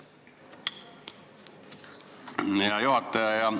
Hea juhataja!